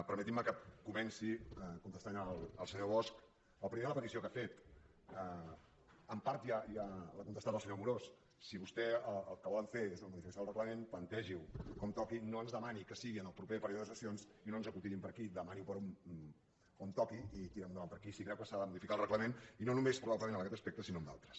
permetin me que comenci contestant al senyor bosch primer la petició que ha fet en part ja l’ha contestat el senyor amorós si vostès el que volen fer és una modificació del reglament plantegi ho com toqui no ens demani que sigui en el proper període de sessions i no ens encotillin per aquí demani ho per on toqui i tirem ho endavant per aquí si creu que s’ha de modificar el reglament i no només probablement en aquest aspecte sinó en d’altres